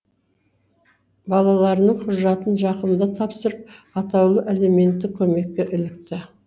балаларының құжатын жақында тапсырып атаулы әлеуметтік көмекке ілікті